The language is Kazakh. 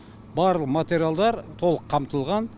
бар материалдар толық қамтылған